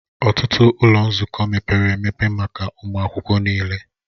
Ọtụtụ ụlọ nzukọ mepere emepe maka ụmụ akwụkwọ niile